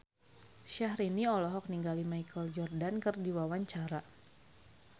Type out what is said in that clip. Syahrini olohok ningali Michael Jordan keur diwawancara